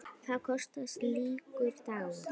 Hvað kostar slíkur dagur?